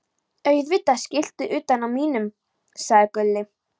Auðvitað skiltið utan á mínum, sagði Gulli.